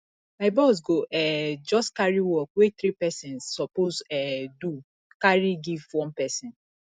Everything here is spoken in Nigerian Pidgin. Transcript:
my boss go um just carry work wey three pesins suppose um do carry give one pesin